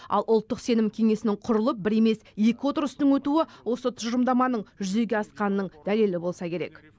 ал ұлттық сенім кеңесінің құрылып бір емес екі отырыстың өтуі осы тұжырымдаманың жүзеге асқанының дәлелі болса керек